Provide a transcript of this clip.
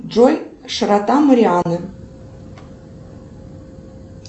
джой широта марианны